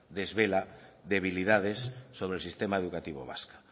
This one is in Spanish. desvela debilidades sobre el sistema educativo vasco